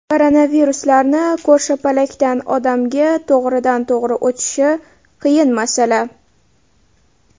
Koronaviruslarni ko‘rshapalakdan odamga to‘g‘ridan to‘g‘ri o‘tishi qiyin masala.